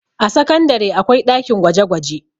a sakandare akwai ɗakin gwaje gwaje